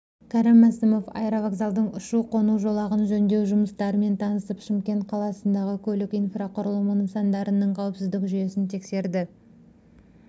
кәрім мәсімов аэровокзалдың ұшу-қону жолағын жөндеу жұмыстарымен танысып шымкент қаласындағы көлік инфрақұрылымы нысандарының қауіпсіздік жүйесін тексереді